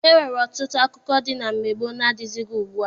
E nwere ọtụtụ akụkọ dị na mgbe gboo na-adịghịzi ugbua.